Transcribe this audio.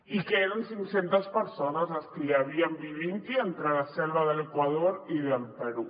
i eren cinc centes persones les que hi havien vivint hi entre la selva de l’equador i del perú